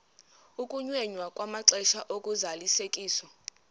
ukunyenyiswa kwamaxesha ozalisekiso